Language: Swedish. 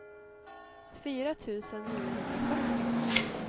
fyra tusen niohundrafyrtio